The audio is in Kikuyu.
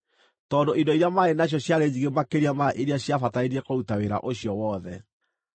tondũ indo iria maarĩ nacio ciarĩ nyingĩ makĩria ma iria ciabatarainie kũruta wĩra ũcio wothe.